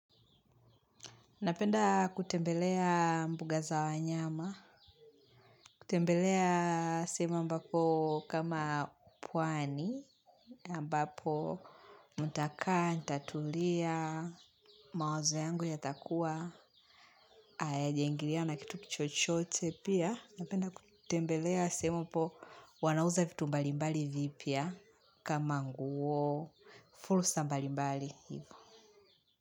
Napenda kutembelea mbuga za wanyama, kutembelea sehemu ambako kama pwani, ambapo mtakaa, nitatulia, mawazo yangu y takua, hayajaingiliwa na kitu chochote pia. Napenda kutembelea sehemu ambapo wanauza vitu mbalimbali vipya kama nguo, fursa mbalimbali hivo.